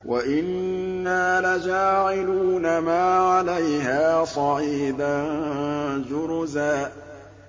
وَإِنَّا لَجَاعِلُونَ مَا عَلَيْهَا صَعِيدًا جُرُزًا